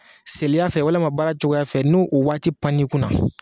Seliya fɛ walima baara cogoya fɛ ni u waati pann'i kunna